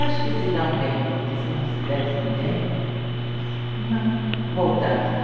Acho que se dão bem, porque se não se dessem bem, não voltavam, né?